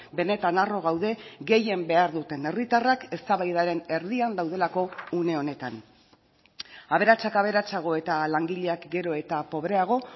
benetan harro gaude gehien behar duten herritarrak eztabaidaren erdian daudelako une honetan aberatsak aberatsago eta langileak gero eta pobreago